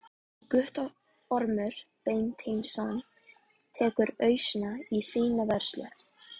Guttormur Beinteinsson tekur ausuna í sína vörslu.